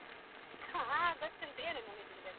ಹಾ ಗೊತ್ತುಂಟು ಏನು ನೆನಪಿಲ್ಲದೆ.